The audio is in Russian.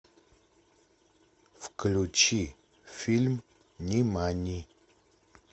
включи фильм нимани